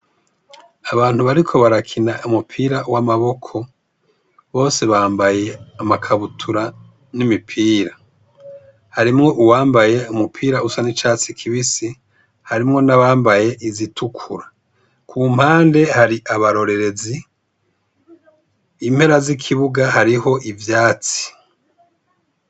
Abantu bariko barakina umupira w’amaboko bose bambaye amakabutura n’imipira, harimwo uwambaye umupira usa n’icatsi kibisi harimwo nabambaye izitukura, ku mpande hari abarorerezi, impera z’ikibuga hari ivyatsi.